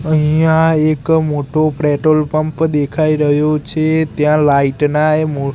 અહીંયા એક મોટુ પ્રેટોલ પંપ દેખાય રહ્યું છે ત્યાં લાઇટ ના એ મો--